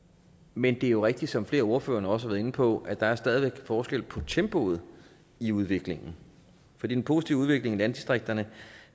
men det er jo rigtigt som flere af ordførerne også har været inde på at der stadig er forskel på tempoet i udviklingen for den positive udvikling i landdistrikterne